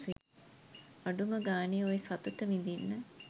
අඩුම ගානේ ඔය සතුට විදින්න.